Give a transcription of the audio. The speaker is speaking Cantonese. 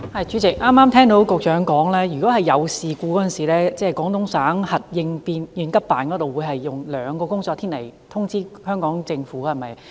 主席，剛才局長表示，發生事故時，廣東省核應急辦會在兩個工作天內通知香港政府，對嗎？